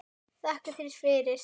Takka þér fyrir